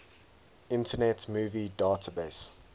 internet movie database